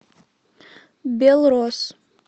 белрос